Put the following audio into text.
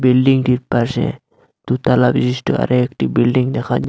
বিল্ডিংটির পাশে দু তলা বিশিষ্ট আরও একটি বিল্ডিং দেখা--